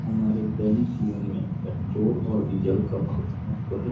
हमारे जीवन में पेट्रोल और डीजल का बहुत .]